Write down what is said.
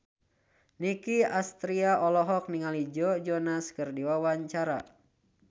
Nicky Astria olohok ningali Joe Jonas keur diwawancara